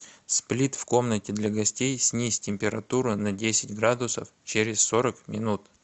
сплит в комнате для гостей снизь температуру на десять градусов через сорок минут